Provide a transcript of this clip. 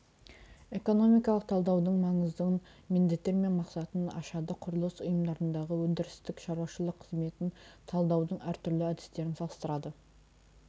экономикалық талдаудың маңызын міндеттер мен мақсатын ашады құрылыс ұйымдарындағы өндірістік шаруашылық қызметін талдаудың әртүрлі әдістерін салыстырады